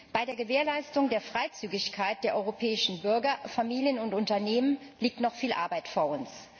Bei der Gewährleistung der Freizügigkeit der europäischen Bürger, Familien und Unternehmen liegt noch viel Arbeit vor uns.